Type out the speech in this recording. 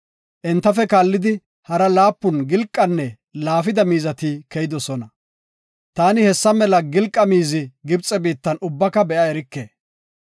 Entafe kaallidi, hara laapun gilqanne laafida miizati keyidosona. Taani hessa mela gilqa miizi Gibxe biittan ubbaka be7a erike.